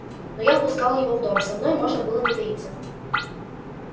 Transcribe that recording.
но я впускал его в дом со мной можно было не таиться